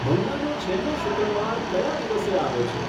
મહિનાનો છેલ્લો શુક્રવાર કયા દિવસે આવે છે